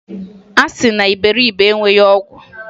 A sị na iberibe enweghi ọgwụ.